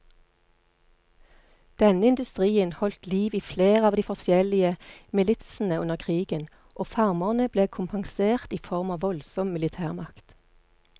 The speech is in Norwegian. Denne industrien holdt liv i flere av de forskjellige militsene under krigen, og farmerne ble kompensert i form av voldsom militærmakt.